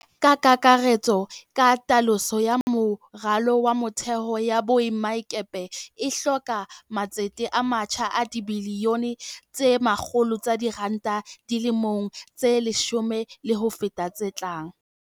Ka kakaretso, katoloso ya moralo wa motheo ya boemakepe e hloka matsete a matjha a dibili yone tse 100 tsa diranta di le mong tse leshome le ho feta tse tlang.